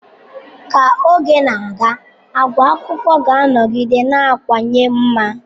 Ka oge na-aga, àgwà akwụkwọ ga-anọgide na-akawanye mma.